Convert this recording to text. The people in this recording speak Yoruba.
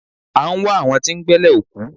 A ń wá àwọn tí ń gbẹ́lẹ̀ òkú.